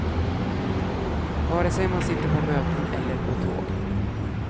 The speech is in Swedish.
Vare sig man sitter på möten eller på tåg.